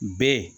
Bɛɛ